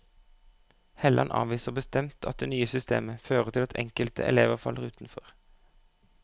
Helland avviser bestemt at det nye systemet fører til at enkelte elever faller utenfor.